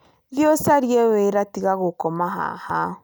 Thiĩ ũcarie wĩra tiga gũkoma haha